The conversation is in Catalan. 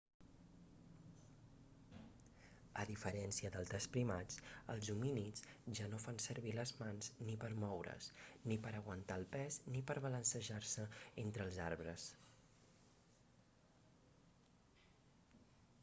a diferència d'altres primats els homínids ja no fan servir les mans ni per moure's ni per aguantar el pes ni per balancejar-se entre els arbres